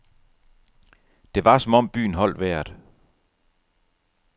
Det var som om byen holdt vejret.